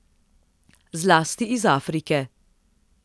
Zlasti iz Afrike.